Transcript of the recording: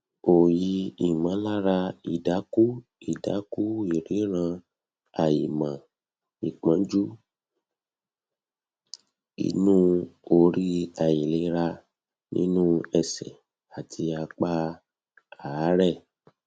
oyi imolara idaku idaku ìríran àìmọ ìpọnjú inú orí àìlera nínú ẹsẹ àti apá aare